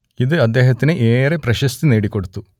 ഇത് അദ്ദേഹത്തിന് ഏറെ പ്രശസ്തി നേടിക്കൊടുത്തു